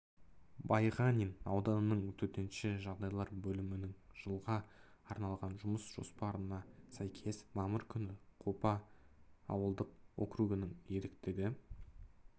байғанин ауданының төтенше жағдайлар бөлімінің жылға арналған жұмыс жоспарына сәйкес мамыр күні қопа ауылдық округінің ерікті